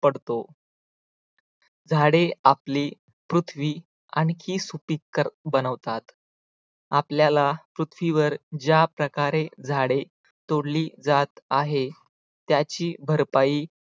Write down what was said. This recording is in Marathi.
पडतो झाडे आपली पृथ्वी आणखी सुपीक बनवतात. आपल्याला पृथ्वीवर ज्याप्रकारे झाडे तोडली जात आहे त्याची भरपाई